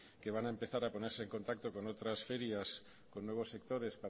que van a empezar a ponerse en contacto con otras ferias con nuevos sectores